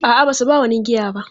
A'a, ba su ba wani giya ba.